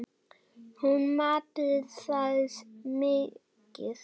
Hún mat það mikils.